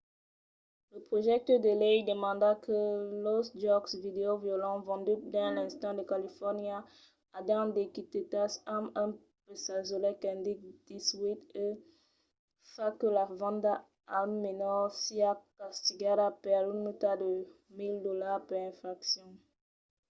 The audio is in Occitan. lo projècte de lei demanda que los jòcs vidèo violents venduts dins l'estat de califòrnia ajan d'etiquetas amb un pegasolet qu'indique 18 e fa que la venda a un menor siá castigada per una multa de 1 000$ per infraccion